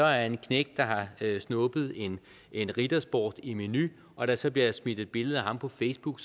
er en knægt der har snuppet en en ritter sport i meny og der så bliver smidt et billede af ham på facebook